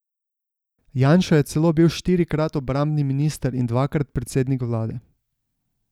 Janša je celo bil štirikrat obrambni minister in dvakrat predsednik vlade.